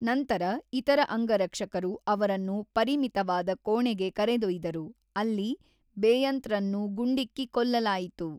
ನಂತರ, ಇತರ ಅಂಗರಕ್ಷಕರು ಅವರನ್ನು ಪರಿಮಿತವಾದ ಕೋಣೆಗೆ ಕರೆದೊಯ್ದ‌ರು, ಅಲ್ಲಿ ಬೇಯಂತ್‌ರನ್ನು ಗುಂಡಿಕ್ಕಿ ಕೊಲ್ಲಲಾಯಿತು.